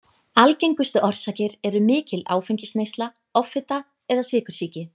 Algengustu orsakir eru mikil áfengisneysla, offita eða sykursýki.